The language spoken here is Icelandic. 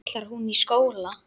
Ætlar hún í skóla.